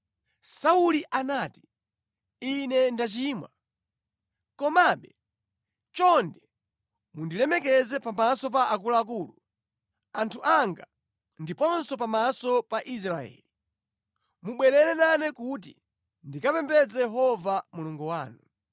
Sauli anati, “Ine ndachimwa. Komabe, chonde mundilemekeze pamaso pa akuluakulu, anthu anga, ndiponso pamaso pa Israeli. Mubwerere nane kuti ndikapembedze Yehova Mulungu wanu.”